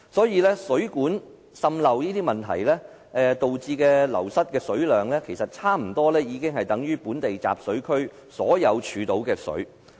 因此，水管滲漏等問題導致流失的水量差不多等於本地集水區的全部儲水量。